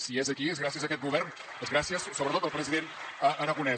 si és aquí és gràcies a aquest govern és gràcies sobretot al president aragonès